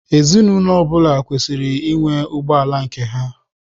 Ezinụlọ ọ bụla kwesịrị ịnwe ụgbọ ala nke ha.